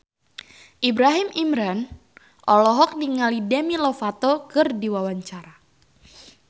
Ibrahim Imran olohok ningali Demi Lovato keur diwawancara